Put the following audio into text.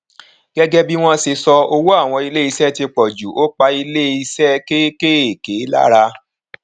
gẹgẹ bí wọn ṣe sọ owó àwọn ilé iṣẹ ti pòjù ó pa ilé iṣẹ kékèèké lára